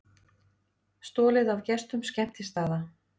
Stolið af gestum skemmtistaða